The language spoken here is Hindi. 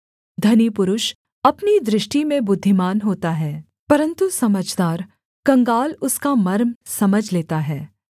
धनी पुरुष अपनी दृष्टि में बुद्धिमान होता है परन्तु समझदार कंगाल उसका मर्म समझ लेता है